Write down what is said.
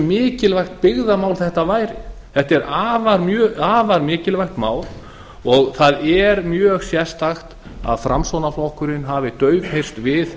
mikilvægt byggðamál þetta væri þetta er afar mikilvægt mál og það er mjög sérstakt að framsóknarflokkurinn hafi daufheyrst við